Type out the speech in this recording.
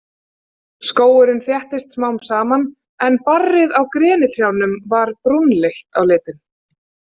Skógurinn þéttist smám saman en barrið á grenitrjánum var brúnleitt á litinn.